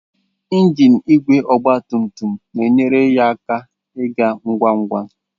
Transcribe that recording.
Ngiin igwe ọgba tum tum na-enyere ya aka ịga ngwa ngwa.